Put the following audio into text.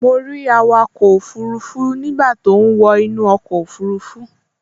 Mo rí awakọ̀ òfurufú nígbà tó ń wọ inú ọkọ̀ òfurufú